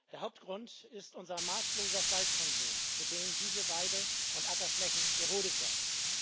Der Hauptgrund ist unser maßloser Fleischkonsum, für den diese Weide und Ackerflächen gerodet werden.